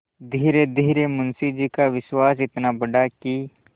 धीरेधीरे मुंशी जी का विश्वास इतना बढ़ा कि